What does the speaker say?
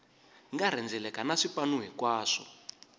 nga rhendzeleka na swipanu hinkwaswo